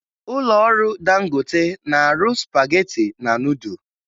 Ụlọọrụ Dangote na-arụ spagetị na nudụ